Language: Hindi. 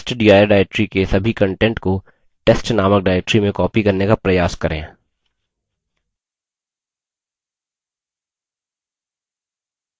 testdir directory के सभी contents को testनामक directory में copy करने का प्रयास करें